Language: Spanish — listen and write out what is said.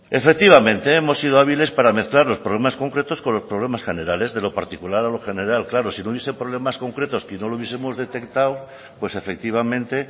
efectivamente hemos sido hábiles para mezclar los problemas concretos con los problemas generales de lo particular a lo general claro sí no hubiese problemas concretos que no lo hubiesemos detectado pues efectivamente